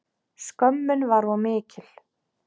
Skömmin var of mikil.